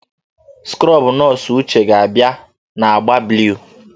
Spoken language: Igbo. Skrobụ nọọsụ Uche ga-abịa na agba blụu.